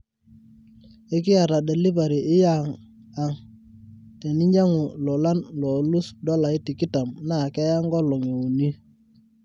ekiyata delivery yia ang teninyangu lolan loolus dolai tikitam naa keya nkolongi uni